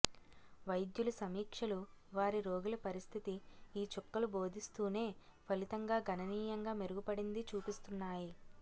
వైద్యులు సమీక్షలు వారి రోగుల పరిస్థితి ఈ చుక్కలు భోదిస్తూనే ఫలితంగా గణనీయంగా మెరుగుపడింది చూపిస్తున్నాయి